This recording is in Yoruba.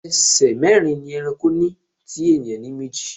Ẹsẹ̀ mẹ́rin ni ẹranko ní tí ènìyàn ní méjì.